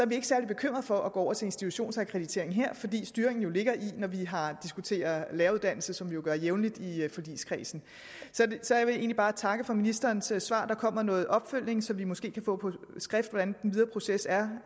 vi ikke særlig bekymret for at gå over til institutionsakkreditering her fordi styringen ligger når vi diskuterer læreruddannelsen som vi jo gør jævnligt i forligskredsen så jeg vil egentlig bare takke for ministerens svar der kommer noget opfølgning så vi måske kan få på skrift hvordan den videre proces er